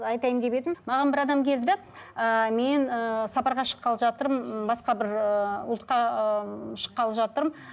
айтайын деп едім маған бір адам келді ыыы мен ыыы сапарға шыққалы жатырмын м басқа бір ыыы ұлтқа ыыы шыққалы жатырмын